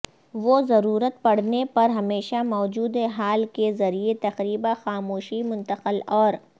وہ ضرورت پڑنے پر ہمیشہ موجود ہال کے ذریعے تقریبا خاموشی منتقل اور